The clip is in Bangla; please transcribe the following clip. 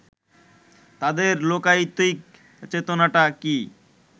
তাদের লোকায়তিক চেতনাটা কি